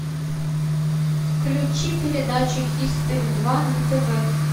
включи передачу хистори два на тв